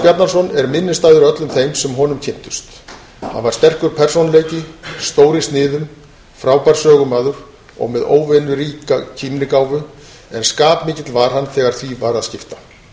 bjarnason er minnisstæður öllum þeim sem honum kynntust hann var sterkur persónuleiki stór í sniðum frábær sögumaður og með óvenjuríka kímnigáfu en skapmikill var hann þegar því var að skipta